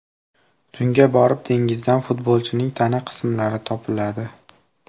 Tunga borib dengizdan futbolchining tana qismlari topiladi.